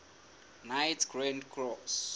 knights grand cross